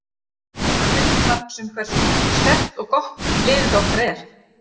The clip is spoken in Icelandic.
Það er til marks um hversu sterkt og gott liðið okkar er!